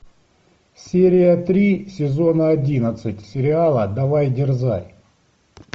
серия три сезона одиннадцать сериала давай дерзай